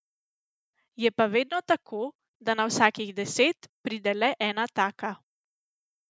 Je pa vedno tako, da na vsakih deset pride le ena taka.